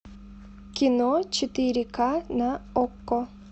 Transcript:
кино четыре ка на окко